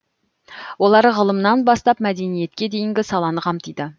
олар ғылымнан бастап мәдениетке дейінгі саланы қамтиды